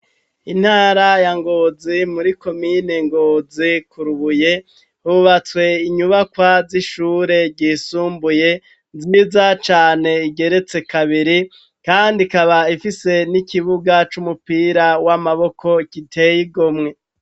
Intara ya ngozi muri komine ngozi ,kurubuye hubatswe inyubakwa z'ishure ryisumbuye nzinza cane igeretse kabiri ,kandi ikaba ifise n'ikibuga c'umupira w'amaboko giteye igomwe.